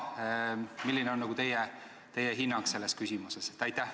Milline on teie hinnang selles küsimuses?